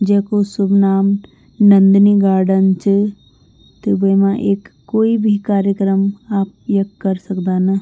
जैकू सुभ नाम नंदनी गार्डन च त वेमा एक कोई भी कार्यक्रम आप यख कर सकदा न।